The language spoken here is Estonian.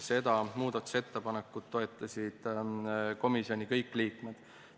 Seda muudatusettepanekut toetasid komisjonis kõik liikmed.